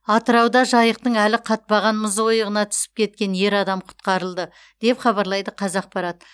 атырауда жайықтың әлі қатпаған мұз ойығына түсіп кеткен ер адам құтқарылды деп хабарлайды қазақпарат